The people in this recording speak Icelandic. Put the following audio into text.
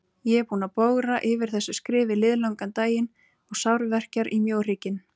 Ég er búinn að bogra yfir þessu skrifi liðlangan daginn og sárverkjar í mjóhrygginn.